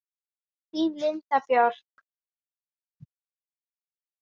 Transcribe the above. Þín Linda Björk.